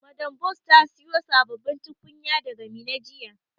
Madam Bose ta siyo sabbabin tukunya daga Minna jiya.